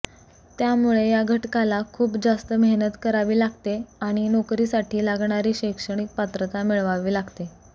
त्यामुळे या घटकाला खूप जास्त मेहनत करावी लागते आणि नोकरीसाठी लागणारी शैक्षणिक पात्रता मिळवावी लागते